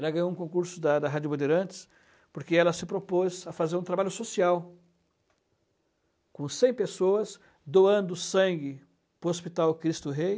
Ela ganhou um concurso da da Rádio Bandeirantes porque ela se propôs a fazer um trabalho social com cem pessoas, doando sangue para o Hospital Cristo Rei.